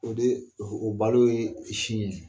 O de o balo ye sin ye